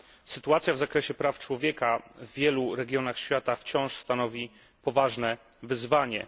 Sytuacja w zakresie praw człowieka w wielu regionach świata wciąż stanowi poważne wyzwanie.